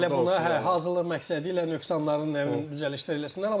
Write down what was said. Bəlkə də elə buna hazırlıq məqsədi ilə nöqsanların, nə bilim, düzəlişlər eləsinlər,